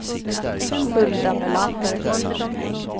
Hulda Melander